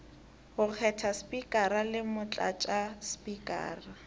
go kgetha spikara le motlatšaspikara